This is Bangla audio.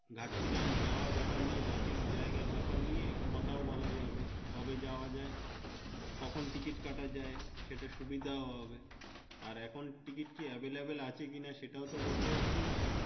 ভাবছিলাম যাওয়ার বেপার নিয়ে রাঁচি জাইগেরবাপের নিয়ে কথা বলা যাবে কবে যাওয়া হবে কখন ticket কাটা যাই সেটাও সুবিধাও হবে আর এখন টা ticket কি available আছেকিনা সেটাও বলতে পাচ্ছি না।